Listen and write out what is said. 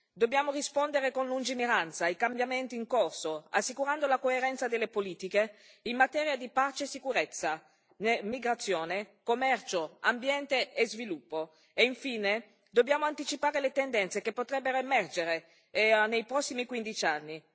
Dobbiamo rispondere con lungimiranza ai cambiamenti in corso, assicurando la coerenza delle politiche in materia di pace e sicurezza, migrazione, commercio, ambiente e sviluppo e, infine, dobbiamo anticipare le tendenze che potrebbero emergere nei prossimi quindici anni.